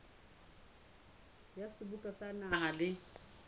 wa seboka sa naha le